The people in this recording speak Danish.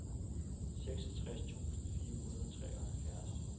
seksogtres tusind fire hundrede og treoghalvfjerds